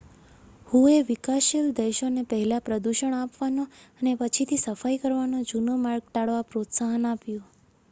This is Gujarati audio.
"હુએ વિકાસશીલ દેશોને "પહેલા પ્રદૂષણ આપવાનો અને પછીથી સફાઈ કરવાનો જૂનો માર્ગ ટાળવા પ્રોત્સાહન આપ્યું.""